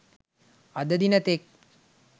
අද දින තෙක්